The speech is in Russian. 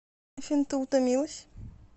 афина ты утомилась